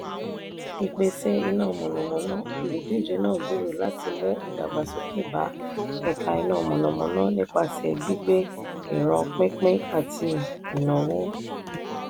ìpèsè iná mọ̀nàmọ́ná: olùdíje náà gbèrò láti mú ìdàgbàsókè bá ẹ̀ka iná mọ̀nàmọ́ná nípasẹ̀ gbígbé ìran pínpín àti ìnáwó.